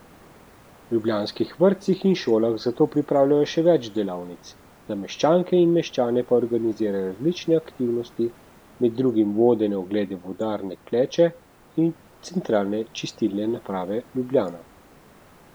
V ljubljanskih vrtcih in šolah zato pripravljajo še več delavnic, za meščanke in meščane pa organizirajo različne aktivnosti, med drugim vodene oglede vodarne Kleče in Centralne čistilne naprave Ljubljana.